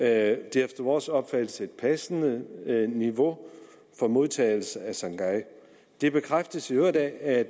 er efter vores opfattelse et passende niveau for modtagelse af sangay det bekræftes i øvrigt af